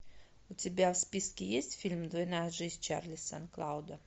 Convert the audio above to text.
у тебя в списке есть фильм двойная жизнь чарли сан клауда